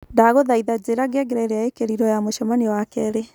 Ndagũthaitha njira ngengere iria ikirirwo ya mucemanio wa keri